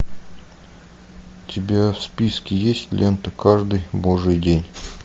у тебя в списке есть лента каждый божий день